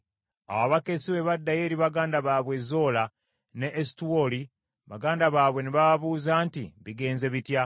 Awo abakessi bwe baddayo eri baganda baabwe e Zola n’e Esutaoli, baganda baabwe ne bababuuza nti, “Bigenze bitya?”